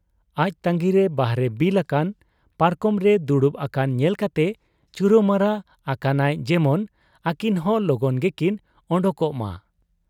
ᱟᱡ ᱛᱟᱺᱜᱤᱨᱮ ᱵᱟᱦᱨᱮ ᱵᱤᱞ ᱟᱠᱟᱱ ᱯᱟᱨᱠᱚᱢᱨᱮ ᱫᱩᱲᱩᱵ ᱟᱠᱟᱱ ᱧᱮᱞ ᱠᱟᱛᱮ ᱪᱩᱨᱟᱹᱢᱟᱨᱟ ᱟᱠᱟᱱᱟᱭ ᱡᱮᱢᱚᱱ ᱟᱹᱠᱤᱱᱦᱚᱸ ᱞᱚᱜᱚᱱ ᱜᱮᱠᱤᱱ ᱚᱰᱚᱠᱚᱜ ᱢᱟ ᱾